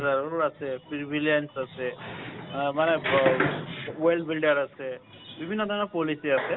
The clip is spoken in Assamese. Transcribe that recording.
পাচঁ হেজাৰও আছে freelance আছে আ ব মানে well builder আছে বিভিন্ন ধৰণৰ policy আছে